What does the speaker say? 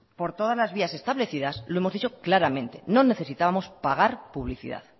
por todas las vías establecidas lo hemos dicho claramente no necesitábamos pagar publicidad